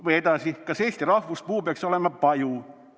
Või edasi: "Kas Eesti rahvuspuu peaks olema paju?